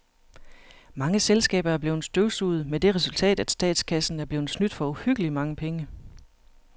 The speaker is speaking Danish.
Mange selskaber er blevet støvsuget med det resultat, at statskassen er blevet snydt for uhyggeligt mange penge.